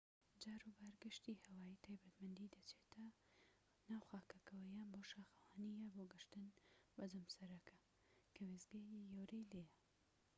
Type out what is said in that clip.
جاروبار گەشتی هەوایی تایبەتمەندی دەچێتە ناو خاکەکەوە یان بۆ شاخەوانی یان بۆ گەشتن بە جەمسەرەکە کە وێستگەیەکی گەورەی لێیە